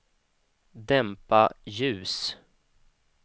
dämpa ljus